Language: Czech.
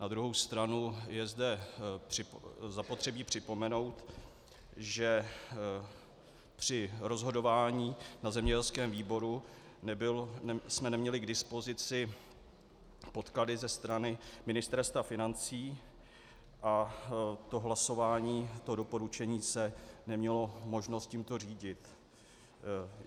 Na druhou stranu je zde zapotřebí připomenout, že při rozhodování na zemědělském výboru jsme neměli k dispozici podklady ze strany Ministerstva financí a to hlasování, to doporučení se nemělo možnost tímto řídit.